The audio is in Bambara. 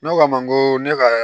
Ne k'a ma n ko ne ka